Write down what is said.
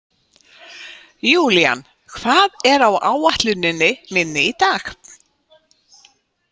Julian, hvað er á áætluninni minni í dag?